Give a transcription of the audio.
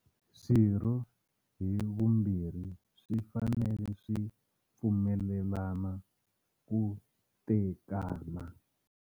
Swirho hi swimbirhi swi fanele swi pfumelelana ku tekana.